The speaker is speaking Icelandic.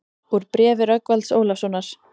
Úr bréfi Rögnvalds Ólafssonar